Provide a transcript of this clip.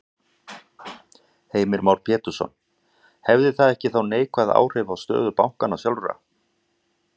Heimir Már Pétursson: Hefði það ekki þá neikvæð áhrif á stöðu bankanna sjálfra?